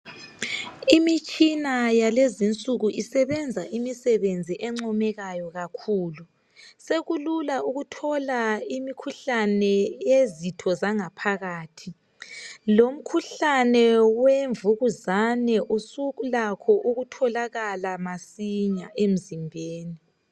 Imitshina yalezi insuku isebenza imisebenzi oncomekayo kakhulu. Sekulula ukuthola imikhuhlane eyezitho zangaphakathi, lomkhuhlane wemvukuzane usulakho ukutholakala masinya emzimbeni.